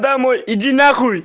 домой иди нахуй